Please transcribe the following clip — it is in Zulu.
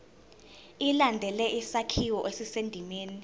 ilandele isakhiwo esisendimeni